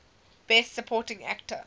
best supporting actor